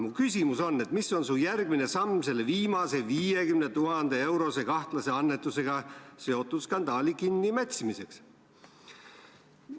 Mu küsimus on, mis on su järgmine samm selle viimase 50 000 euro suuruse kahtlase annetusega seotud skandaali kinnimätsimiseks.